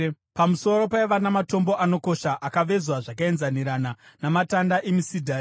Pamusoro paiva namatombo anokosha, akavezwa zvakaenzanirana, namatanda emisidhari.